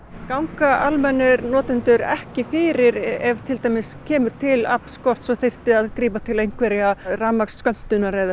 ganga almennir notendur ekki fyrir ef til dæmis kemur til aflskorts og þyrfti að grípa til einhverrar rafmagnsskömmtunar eða